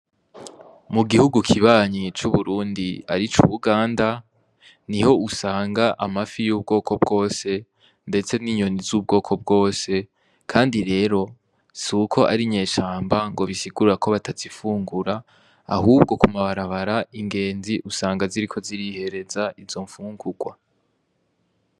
Mu gihugu kibanyiye c'uburundi ari co uuganda ni ho usanga amafi y'ubwoko bwose, ndetse n'inyoni z'ubwoko bwose, kandi rero si uko ari inyeshamba ngo bisigurra ko batazifungura ahubwo kumabarabara ingenzi usanga ziriko zirihereza izo mu unkukwa.